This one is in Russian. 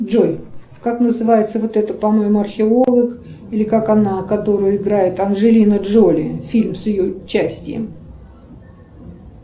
джой как называется вот это по моему археолог или как она которую играет анджелина джоли фильм с ее участием